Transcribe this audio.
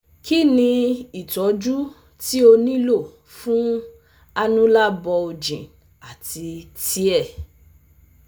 Kini itọju ti o nilo fun annular bulging ati tear?